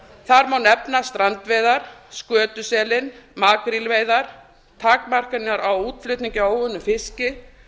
þar má nefna strandveiðar skötuselinn makrílveiðar takmarkanir á útflutningi á óunnum fiski